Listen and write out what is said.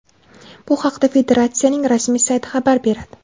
Bu haqda federatsiyaning rasmiy sayti xabar beradi .